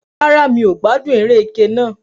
Rárá, mi ò gbádùn eré ẹkẹ náà